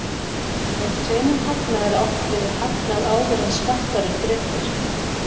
Með hreinum hagnaði er átt við hagnað áður en skattar eru greiddir.